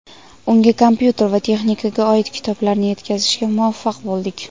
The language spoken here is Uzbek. Unga kompyuter va texnikaga oid kitoblarni yetkazishga muvaffaq bo‘ldik.